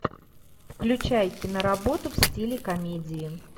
включай киноработу в стиле комедии